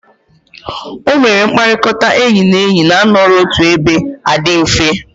O mere mkpakọrịta enyi na enyi na-anọrọ otu ebe a di mfe.